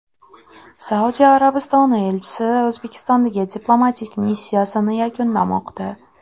Saudiya Arabistoni elchisi O‘zbekistondagi diplomatik missiyasini yakunlamoqda.